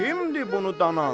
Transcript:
Kimdir bunu danan?